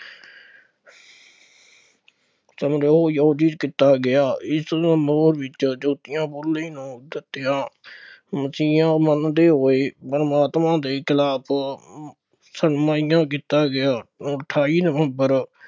ਸਮਾਰੋਹ ਆਯੋਜਿਤ ਕੀਤਾ ਗਿਆ, ਇਸ ਸਮਾਰੋਹ ਵਿੱਚ ਜੋਤੀਬਾ ਫੂਲੇ ਨੂੰ ਮਸੀਹਾ ਮੰਨਦੇ ਹੋਏ, ਪ੍ਰਮਾਤਮਾ ਦੇ ਖਿਲਾਫ ਕੀਤਾ ਗਿਆ, ਅਠਾਈ ਨਵੰਬਰ